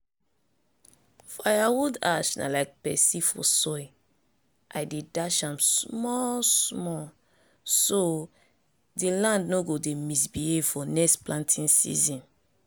firewood ash na like pepsi for soil! i dey dash am small-small so di land no go dey misbehave for next planting season.